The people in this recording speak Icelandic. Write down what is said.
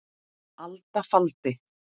alda faldi